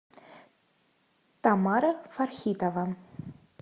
тамара фархитова